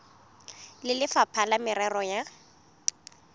le lefapha la merero ya